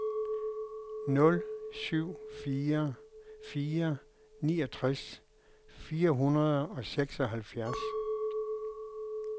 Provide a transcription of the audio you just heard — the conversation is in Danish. nul syv fire fire niogtres fire hundrede og seksoghalvfjerds